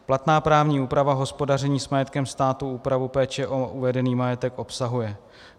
Platná právní úprava hospodaření s majetkem státu úpravu péče o uvedený majetek obsahuje.